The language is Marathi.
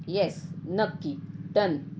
येस नक्की डन .